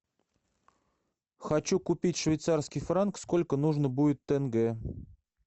хочу купить швейцарский франк сколько нужно будет тенге